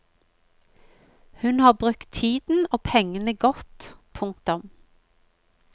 Hun har brukt tiden og pengene godt. punktum